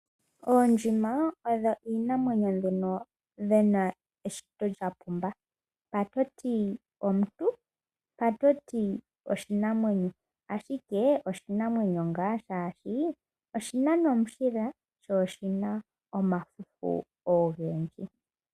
Oondjima odho iinamwenyo mbyono dhina eshito lya pumba, mpa to ti omuntu mpa to ti oshinamwenyo. Ashike oshinamwenyo ngaa shaashi oshi na nomushila sho oshina omafufu ogendji.